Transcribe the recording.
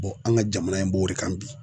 an ka jamana in b'o de kan bi.